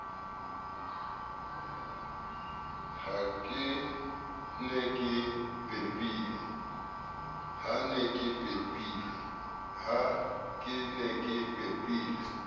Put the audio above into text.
ha ke ne ke pepile